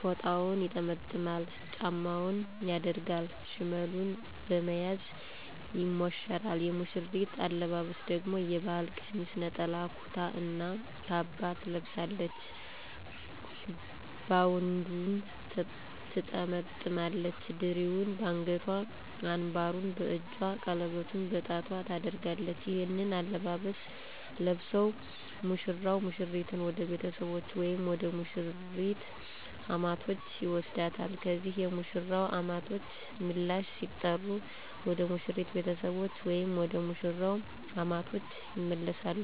ፎጣውን ይጠመጥማል፤ ጫማውን ያደርጋል፤ ሽመሉን በመያዝ ይሞሸራል። የሙሽሪት አለባበስ ደግሞ የባህል ቀሚስ፣ ነጠላ ኩታ እና ካባ ትለብሳለች፤ ባውንዷን ትጠመጥማለች፣ ድሪውን በአንገቷ፣ አንባሩን በእጇ፣ ቀለበቷን በጣቷ ታደርጋለች። ይህንን አለባበስ ለብሰው ሙሽራው ሙሽሪትን ወደ ቤተሰቦቹ ወይም ወደ ሙሽሪት አማቶች ይወስዳታል። ከዚያ የሙሽራው አማቶች ምላሽ ሲጠሩ ወደ ሙሽሪት ቤተሰቦች ወይም ወደ መሽራው አማቶች ይመለሳሉ።